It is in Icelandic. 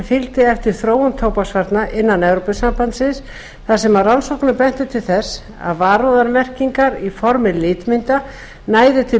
fylgdi eftir þróun tóbaksvarna innan evrópusambandsins þar sem rannsóknir bentu til þess að varúðarmerkingar í formi litmynda næðu til